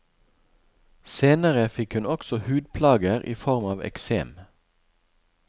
Senere fikk hun også hudplager i form av eksem.